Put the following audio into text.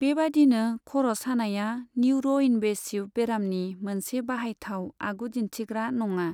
बेबादिनो, खर' सानायआ न्युर'इनवेसिव बेरामनि मोनसे बाहायथाव आगुदिन्थिग्रा नङा।